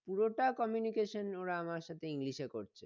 পুরোটা communication ওরা আমার সাথে english এ করছে